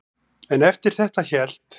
En eftir þetta hélt